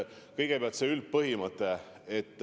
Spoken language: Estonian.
Kõigepealt, see üldpõhimõte.